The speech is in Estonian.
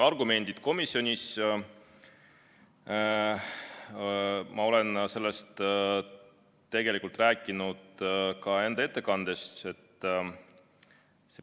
Argumendid komisjonis – ma olen nendest tegelikult rääkinud ka oma ettekandes.